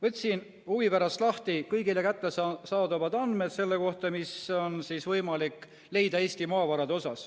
Võtsin huvi pärast lahti kõigile kättesaadavad andmed, mida on võimalik leida Eesti maavarade kohta.